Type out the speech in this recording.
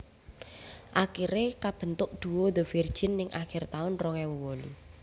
Akiré kabentuk duo The Virgin ning akir taun rong ewu wolu